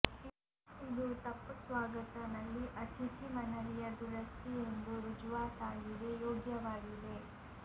ಇದು ತಪ್ಪು ಸ್ವಾಗತ ನಲ್ಲಿ ಅತಿಥಿ ಮನವಿಯ ದುರಸ್ತಿ ಎಂದು ರುಜುವಾತಾಗಿದೆ ಯೋಗ್ಯವಾಗಿದೆ